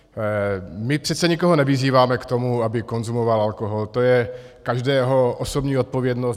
My přece nikoho nevyzýváme k tomu, aby konzumoval alkohol, to je každého osobní odpovědnost.